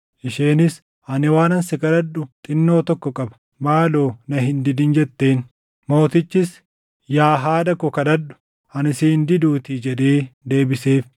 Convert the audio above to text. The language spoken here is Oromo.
Isheenis, “Ani waanan si kadhadhu xinnoo tokko qaba; maaloo na hin didin” jetteen. Mootichis, “Yaa haadha koo kadhadhu; ani si hin diduutii” jedhee deebiseef.